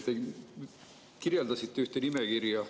Te kirjeldasite ühte nimekirja.